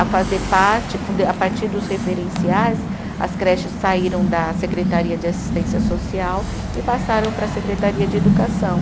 a fazer parte com de, a partir dos referenciais, as creches saíram da Secretaria de Assistência Social e passaram para a Secretaria de Educação.